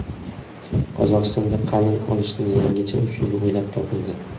Qozog‘istonda qalin olishning yangicha usuli o‘ylab topildi.